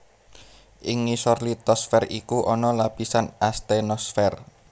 Ing ngisor litosfér iku ana lapisan astenosfer